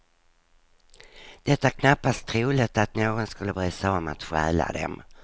Det är knappast troligt att någon skulle bry sig om att stjäla dem.